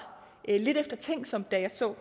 lidt eftertænksom da jeg så